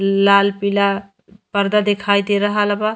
लाल पीला परदा दिखायी दे रहल बा।